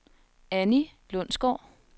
Annie Lundsgaard